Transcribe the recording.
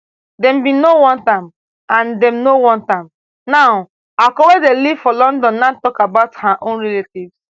dem bin no want am and dem no want am now akol wey dey live for london now tok about her own relatives